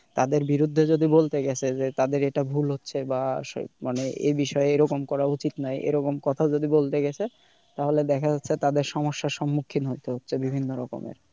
কাদের বিরুদ্ধে যদি বলতে গেছে যে তাদের এটা ভুল হচ্ছে বা মানে এ বিষয়ে এইরকম করা উচিত না এরকম কথা যদি বলতে গেছে তাহলে দেখা হচ্ছে তাদের সমস্যার সম্মুখীন হতে হচ্ছে বিভিন্ন রকমের।